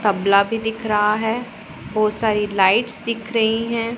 तबला भी दिख रहा है बहोत सारी लाइट्स दिख रही है।